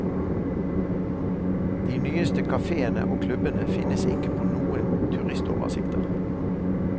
De nyeste kaféene og klubbene finnes ikke på noen turistoversikter.